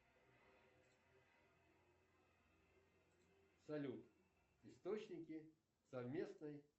салют источники совместной